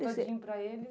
todinho para ele?